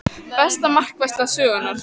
Besta markvarsla sögunnar?